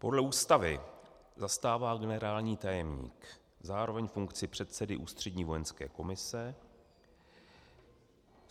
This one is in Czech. Podle ústavy zastává generální tajemník zároveň funkci předsedy Ústřední vojenské komise.